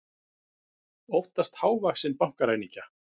Óttast hávaxinn bankaræningja